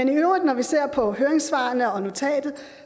vi i øvrigt ser på høringssvarene og notatet